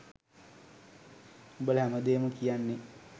උඹල හැමදේම කියන්නෙ